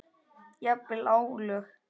Jafnvel álög.